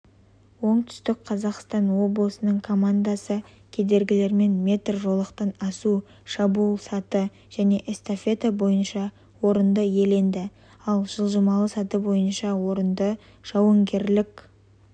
оңтүстік қазақстан облысының командасы кедергілерімен метр жолақтан асу шабуыл саты және эстафета бойынша орынды иеленді ал жылжымалы саты бойынша орынды жауынгерлік